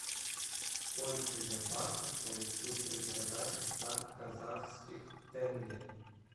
сколько я баксов получу при продаже ста казахских тенге